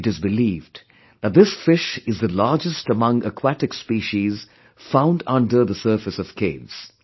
It is believed that this fish is the largest among aquatic species found under the surface of caves